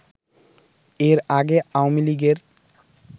এর আগে আওয়ামীলীগের